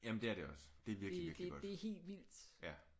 Jamen det er det også det er virkelig virkelig godt ja